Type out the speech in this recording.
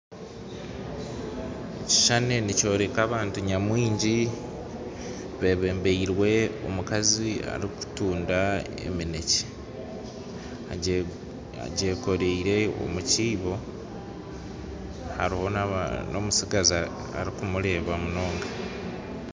Ekishushani nikyoreka abantu nyamwingi bebembirwe omukazi arikuguza eminekye egyekorire omukiibo, hariho n'omutsigazi arikumureeba munonga.